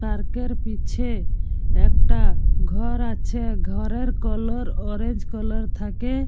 Park এর পিছে একটা ঘর আছে। ঘরের কালার অরেঞ্জ কালার থাকে।